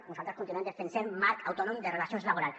nosaltres continuem defensant marc autònom de relacions laborals